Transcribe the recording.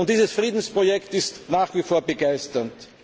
Und dieses Friedensprojekt ist nach wie vor begeisternd.